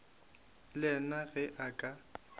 le yena ge a ka